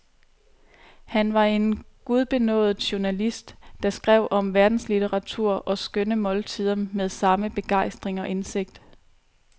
Han var en gudbenådet journalist, der skrev om verdenslitteratur og skønne måltider med samme begejstring og indsigt.